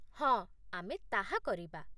ହଁ, ଆମେ ତାହା କରିବା।